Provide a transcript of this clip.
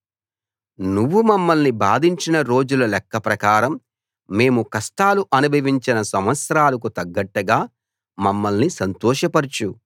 నువ్వు మమ్మల్ని బాధించిన రోజుల లెక్కప్రకారం మేము కష్టాలు అనుభవించిన సంవత్సరాలకు తగ్గట్టుగా మమ్మల్ని సంతోషపరచు